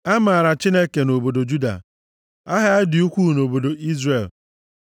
A maara Chineke nʼobodo Juda; aha ya dị ukwuu nʼobodo Izrel.